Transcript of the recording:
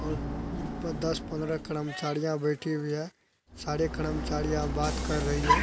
और उम प दस पन्द्रह कड़मचाड़ीयाँ बैठी हुई है। साड़े कड़मचाड़ीयाँ बात कर रही है।